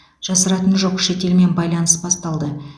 жасыратыны жоқ шетелмен байланыс басталды